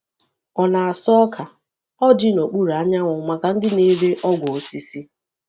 Ọ na-asa ọka ọjị n’okpuru anyanwụ maka ndị na-ere ọgwụ osisi.